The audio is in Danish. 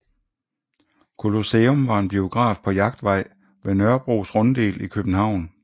Colosseum var en biograf på Jagtvej ved Nørrebros Runddel i København